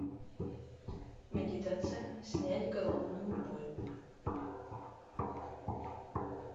медитация снять головную боль